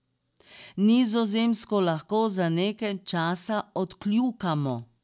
Nizozemsko lahko za nekaj časa odkljukamo.